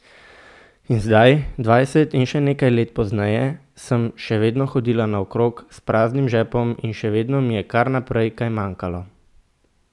In zdaj, dvajset in še nekaj let pozneje, sem še vedno hodila naokrog s praznim žepom in še vedno mi je kar naprej kaj manjkalo.